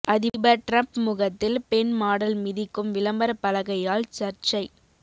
அதிபர் டிரம்ப் முகத்தில் பெண் மாடல் மிதிக்கும் விளம்பர பலகையால் சர்ச்சை